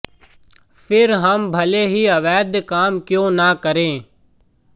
फिर हम भले ही अवैध काम क्यों न करें